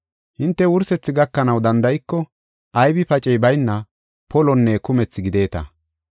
Hinte wursethi gakanaw danda7iko aybi pacey bayna polonne kumethi gideta.